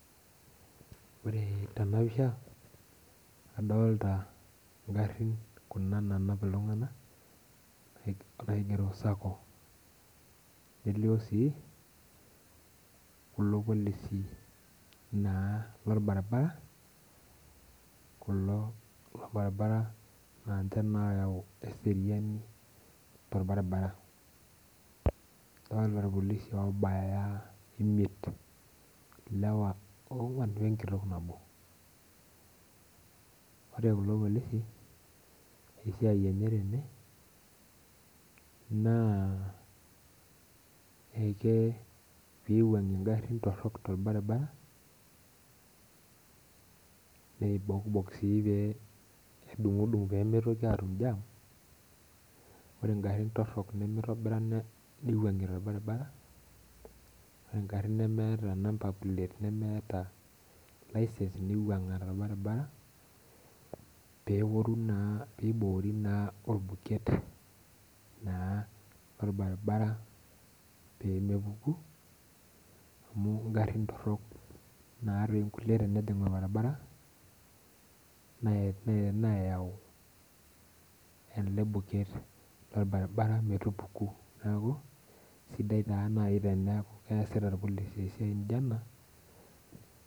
Ore tenapisha, adolta igarrin kuna nanap iltung'anak, naigero Sacco. Elio si, kulo polisi naa lorbaribara, kulo lorbaribara na nche na oyau eseriani torbaribara. Adolta irpolisi obaya imiet. Ilewa ong'uan wenkitok nabo. Ore kulo polisi, esiai enye tene, naa eke piwuang'ie garrin torrok torbaribara, neibokbok si pe nedung'dung' pemitoki atum jam, ore garrin torrok nimitobira niwuang'ie torbaribara, ore garrin nemeeta number plate, nemeeta licence niwuang'a torbaribara, peoru naa piboori orbuket, naa lorbaribara pemepuku amu igarrin torrok natoi nkulie tenejing' orbaribara, nayau ele buket lorbaribara metupuku. Neeku, sidai taa nai teneeku keesita irpolisi esiai nijo ena.